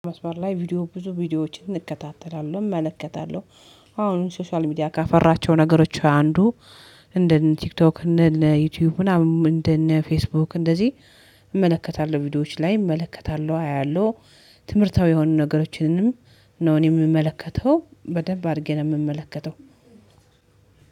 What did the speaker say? መስመር ላይ ቪዲዮ ብዙ ቪዲዮዎችን እከታተላለሁ፤ እመለከታለሁ አሁን ሶሻል ሚዲያ ካፈራቸው ነገሮች አንዱ እንደ ቲክቶክ፣ እንደ ዩቲዩብ ምናምን እንደ ፌስቡክ እንደዚህ እመለከታለሁ ቪዲዮዎች ላይ እመለከታለሁ፤ አያለሁ ትምህርታዊ የሆኑ ነገሮችንም ነው እኔ የምመለከተው፤ በደንብ አድርጌ ነው የምመለከተው።